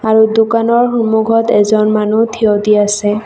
এই দোকানৰ সন্মূখত এজন মানুহ থিয় দি আছে।